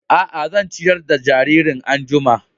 A a, zan ciyar da jaririn an'jumma.